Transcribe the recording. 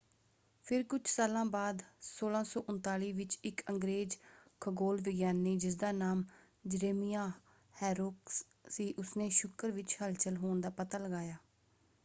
ਫਿਰ ਕੁਝ ਸਾਲਾਂ ਬਾਅਦ 1639 ਵਿੱਚ ਇੱਕ ਅੰਗਰੇਜ਼ ਖਗੋਲ ਵਿਗਿਆਨੀ ਜਿਸਦਾ ਨਾਮ ਜਰੇਮਿਆਹ ਹੈਰੋਕਸ ਸੀ ਉਸਨੇ ਸ਼ੁੱਕਰ ਵਿੱਚ ਹਲਚਲ ਹੋਣ ਦਾ ਪਤਾ ਲਗਾਇਆ।